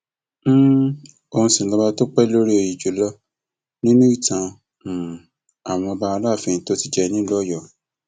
um òun sì lọba tó pẹ lórí òye jù lọ nínú ìtàn um àwọn aláàfin tó ti jẹ nílùú ọyọ